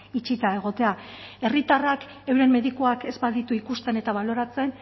itxita egotea herritarrak euren medikuak ez baditu ikusten eta baloratzen